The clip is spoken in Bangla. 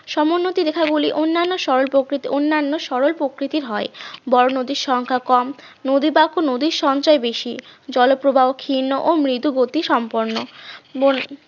সমোন্নতি রেখা গুলি অন্যান্য সরল প্রকৃতির হয়, বড় নদীর সংখ্যা কম নদীর বাঁক নদীর সঞ্চয় বেশি জলপ্রবাহ ক্ষীন ও মৃদু গতি সম্পন্ন, বন